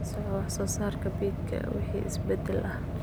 La soco wax soo saarka beedka wixii isbeddel ah.